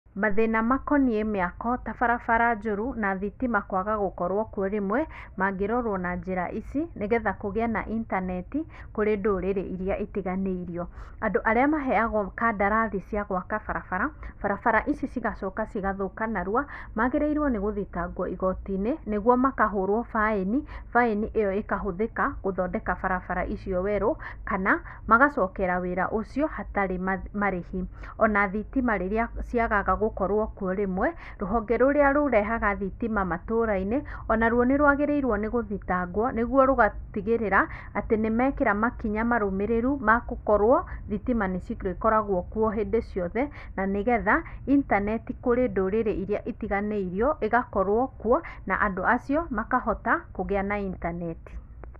Mathĩna makonie mĩako ta barabara njũru na thitima kwaga gũkorwo kuo rĩmwe, mangĩrorwo na njĩra ici, nĩgetha kugĩe na interneti, kũrĩ ndũrĩrĩ iria itiganĩirio. Andu arĩa maheagwo kandarathi cia gwaka barabara, barabara ici igacoka igathũka narua, magĩrĩirwo nĩ gũthitangwo igotinĩ, nĩguo makahũrwo baĩni, baĩni ĩyo ĩkahũthĩka gũthondeka barabara icio werũ, kana magacokera wĩra ũcio hatarĩ marĩhi. Ona thitima rĩrĩa ciagaga gũkorwo kuo rĩmwe, rũhonge rũrĩa rũrehaga thitima matũra-inĩ, onaruo nĩrwagĩrĩirwo nĩgũthitangwo nĩguo rũgatigĩrĩra, atĩ nimekĩra makĩnya marũmĩrĩru magũkorwo, thitima nĩcirĩkoragwo kuo hindĩ ciothe na nĩgetha internet kurĩ ndũrĩrĩ iria itiganĩirio ĩgakorwo kuo, na andũ acio makahota kũgĩa na internet.